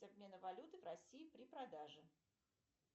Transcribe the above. обмена валюты в россии при продаже